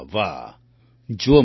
વાહ વાહ જુઓ મંજૂર જી